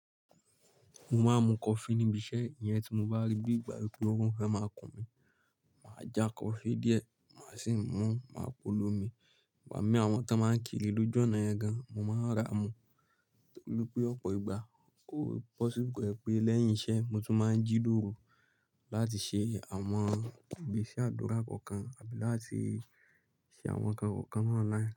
Mo máa ń mu kofi níbi iṣẹ́, ìyẹn tí mo bá rí bí ìgbà pé órun fẹ́ máa kùn mí, màá ja coffee díẹ̀, màá sì mú máa polomi. Igbami àwọn kan máa ń kiri lójú ọ̀nà yẹn gan, mo máa ra mú. Nítorí pé ọ̀pọ̀ ìgbà, ó possible ko jepé lẹ́yìn iṣẹ́, mo tún máa ń jí lóru láti ṣe àwọn ìgbésẹ́ àdúrà kọ̀ọ̀kan àbí láti ṣe àwọn nǹkan kọ̀ọ̀kan ni online.